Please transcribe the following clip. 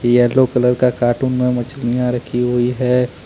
Yellow colour का carton में मछलीया रखी हुई है।